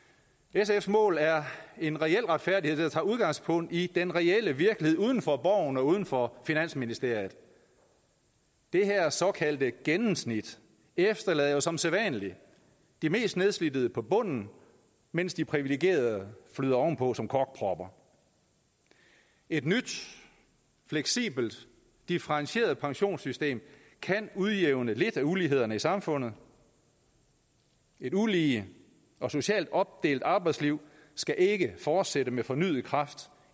sfs mål er en reel retfærdighed der tager udgangspunkt i den reelle virkelighed uden for borgen og uden for finansministeriet det her såkaldte gennemsnit efterlader jo som sædvanlig de mest nedslidte på bunden mens de privilegerede flyder ovenpå som korkpropper et nyt fleksibelt differentieret pensionssystem kan udjævne lidt af ulighederne i samfundet et ulige og socialt opdelt arbejdsliv skal ikke fortsætte med fornyet kraft